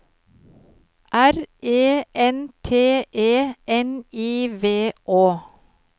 R E N T E N I V Å